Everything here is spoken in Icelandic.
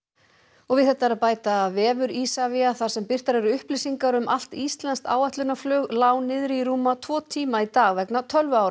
og við þetta er að bæta að vefur Isavia þar sem birtar eru upplýsingar um allt íslenskt áætlunarflug lá niðri í rúma tvo tíma í dag vegna